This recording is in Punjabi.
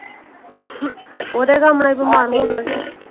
ਓਹਦੇ ਸਾਮ੍ਹਣੇ ਬਿਮਾਰ ਹੋ ਗਿਆ ਸੀ।